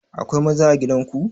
Akwai maza a gidan ku?